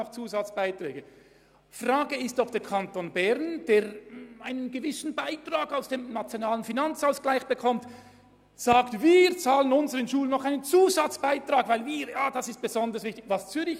Es stellt sich die Frage, ob der Kanton Bern, der einen gewissen Beitrag aus dem NFA erhält, sagen will, er bezahle für seine Schulen einen Zusatzbeitrag, weil diese besonders wichtig seien.